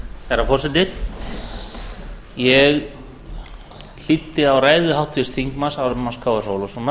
herra forseti ég hlýddi á ræðu háttvirts þingmanns ármanns krónu